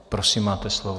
Prosím, máte slovo.